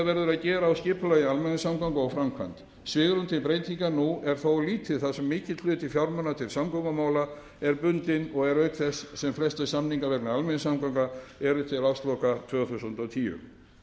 að gera á skipulagi almenningssamgangna og framkvæmd svigrúm til breytinga nú er þó lítið þar sem mikill hluti fjármuna til samgöngumála er bundinn og er auk þess sem flestir samningar vegna almenningssamgangna eru til ársloka tvö þúsund og tíu